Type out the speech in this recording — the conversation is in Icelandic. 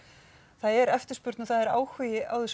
það er eftirspurn og það er áhugi á þessum